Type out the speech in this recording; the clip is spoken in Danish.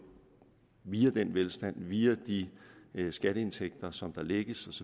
via den velstand via de skatteindtægter som der lægges